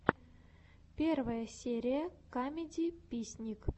первая серия камедиписник